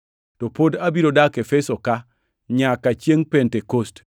To pod abiro dak Efeso-ka nyaka chiengʼ Pentekost,